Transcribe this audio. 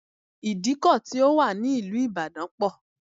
Ìdíkọ̀ ti ó wà ní ìlú ìbàdàn pọ̀